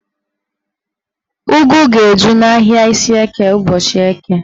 Ụgụ ga-eju n'ahịa Ishieke ụbọchị Eke